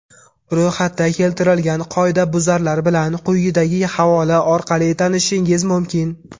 Ro‘yxatda keltirilgan qoidabuzarlar bilan quyidagi havola orqali tanishishingiz mumkin.